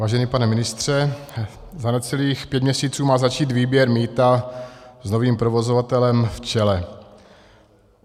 Vážený pane ministře, za necelých pět měsíců má začít výběr mýta s novým provozovatelem v čele.